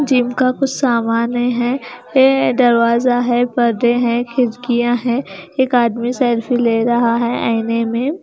Gym का कुछ सामाने है ये दरवाजा है पर्दे हैं खिड़कियां हैं एक आदमी सेल्फी ले रहा है आयने में।